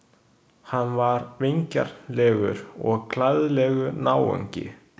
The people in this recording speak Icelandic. Hann var vingjarnlegur og glaðlegur náungi.